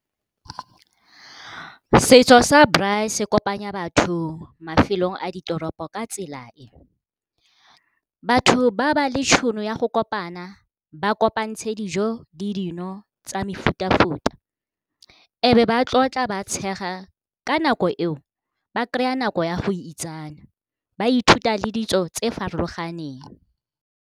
Setso sa braai se kopanya batho mafelong a ditoropo ka tsela e, batho ba ba le tšhono ya go kopana ba kopantshe dijo le dino tsa mefuta-futa e be ba tlotla ba tshega ka nako eo ba kry-a nako ya go itsane, ba ithuta le ditso tse farologaneng.